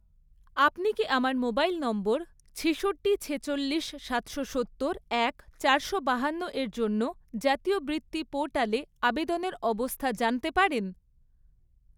আপনি কি আমার মোবাইল নম্বর ছিষট্টি, ছেচল্লিশ, সাতশো সত্তর, এক, চারশো বাহান্ন এর জন্য জাতীয় বৃত্তি পোর্টালে আবেদনের অবস্থা জানতে পারেন?